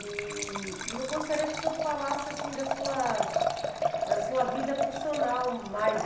E e eu gostaria que o senhor falasse da sua da sua vida profissional mais.